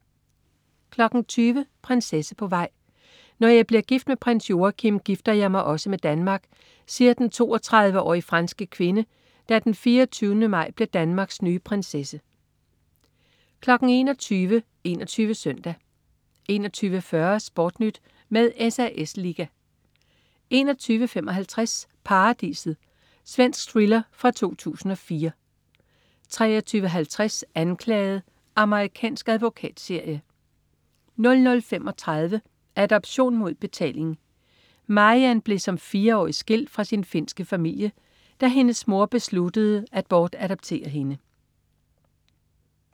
20.00 Prinsesse på vej. "Når jeg bliver gift med prins Joachim, gifter jeg mig også med Danmark", siger den 32-årige franske kvinde, der den 24. maj bliver Danmarks nye prinsesse 21.00 21 Søndag 21.40 SportNyt med SAS liga 21.55 Paradiset. Svensk thriller fra 2004 23.50 Anklaget. Amerikansk advokatserie 00.35 Adoption mod betaling. Mariann blev som fireårig skilt fra sin finske familie, da hendes mor besluttede at bortadoptere hende